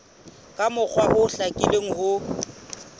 ka mokgwa o hlakileng ho